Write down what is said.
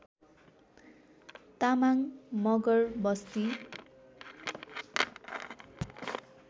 Tamang Magar Basti